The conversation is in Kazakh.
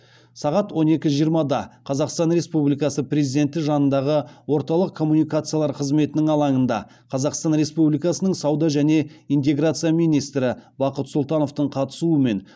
сағат он екі жиырмада қазақстан республикасы президенті жанындағы орталық коммуникациялар қызметінің алаңында қазақстан республикасының сауда және интеграция министрі бақыт сұлтановтың қатысуымен